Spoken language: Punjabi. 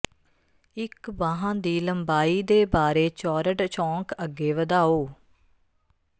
ਇਕ ਬਾਂਹ ਦੀ ਲੰਬਾਈ ਦੇ ਬਾਰੇ ਚੌਰਡ ਚੌਂਕ ਅੱਗੇ ਵਧਾਓ